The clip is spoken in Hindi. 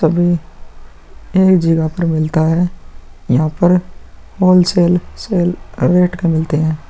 तभी एही जगह पर मिलता है। यहां पर होलसेल सेल रेट के मिलते हैं।